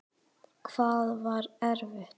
Hvað var erfitt?